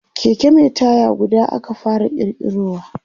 Keke Mai taya guda aka fara kirkirowa